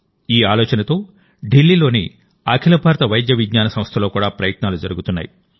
ఈ ఆలోచనతో ఢిల్లీలోని అఖిలభారత వైద్య విజ్ఞాన సంస్థలో కూడా ప్రయత్నాలు జరుగుతున్నాయి